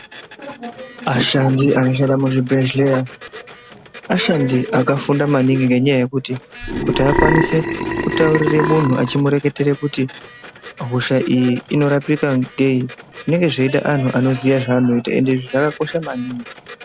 Ashandi anoshanda muzvibhedhlera ashandi akafunda maningi ngenyaya yekuti, kuti vakwanise kutaurire munhu vechimureketera kuti hosha iyi inorapika ngei zvinenge zveide anhu anoziye zvavanoita ende zvakakosha maningi.